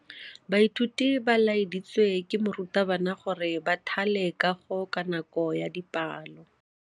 Baithuti ba laeditswe ke morutabana gore ba thale kagô ka nako ya dipalô.